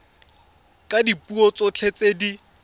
ka dipuo tsotlhe tse di